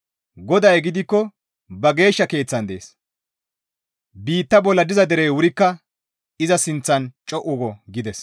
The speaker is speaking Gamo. GODAY gidikko ba Geeshsha keeththan dees. Biitta bolla diza derey wurikka iza sinththan co7u go» gides.